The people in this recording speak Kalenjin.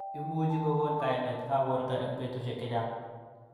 Imuch kokon kaimet ab borto eng betushek chechang.